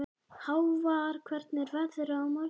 Hávarr, hvernig er veðrið á morgun?